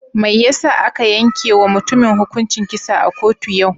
Mai yasa aka yanke wa mutumin hukuncin kisa a kotu yau?